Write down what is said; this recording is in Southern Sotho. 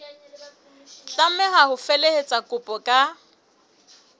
tlameha ho felehetsa kopo ka